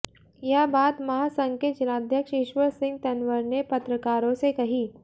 यह बात महासंघ के जिलाध्यक्ष ईश्वर सिंह तंवर ने पत्रकारों से कही